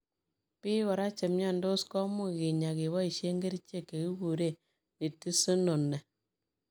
Piik koraa chemnyandos komuuch kinyaa kebaishee kerichek chekikuree Nitisinone.